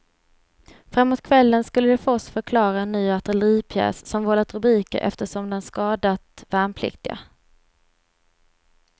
Framåt kvällen skulle de för oss förklara en ny artilleripjäs som vållat rubriker eftersom den skadat värnpliktiga.